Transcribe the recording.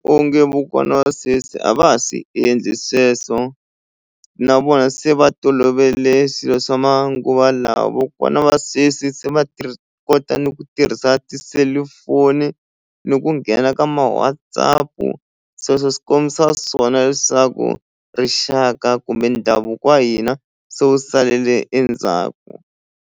Onge va sweswi a va ha swi endli sweswo na vona se va tolovele swilo swa manguva lawa vakokwana va sweswi se kota ni ku tirhisa ti selufoni ni ku nghena ka ma WhatsApp-u sweswo swi kombisa swona leswaku rixaka kumbe ndhavuko wa hina se wu salele endzhaku.